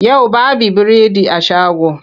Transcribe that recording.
Yau baby biredi a shago.